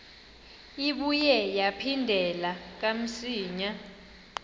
ibuye yaphindela kamsinya